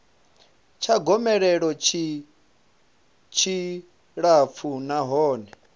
tsha gomelelo tshi tshilapfu nahone